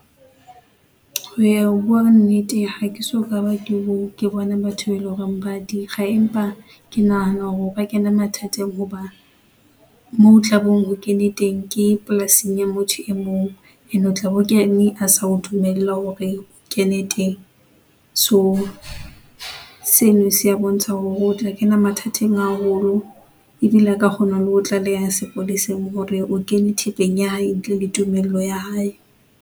Eya o bua nnete hake soka ba ke bona batho eleng hore ba dikga empa ke nahana hore re o ka kena mathateng hoba, moo o tlabeng o kene teng ke polasing ya motho e mong ene o tlabe ho kene a sa o dumella hore o kene teng. So, seno se a bontsha hore o tla kena mathateng haholo ebile a ka kgona le ho o tlaleha sepoleseng hore o kene thepeng ya hae ntle le tumello ya hae.